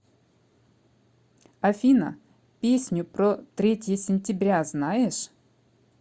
афина песню про третье сентября знаешь